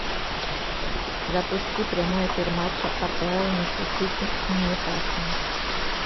запусти прямой эфир матча апл между сити и ньюкаслом